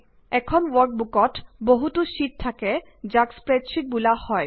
এখন ৱৰ্কবুকত বহুতো শ্বিট থাকে যাক স্প্ৰেডশ্বিট বোলা হয়